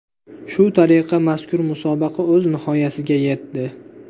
Shu tariqa mazkur musobaqa o‘z nihoyasiga yetdi.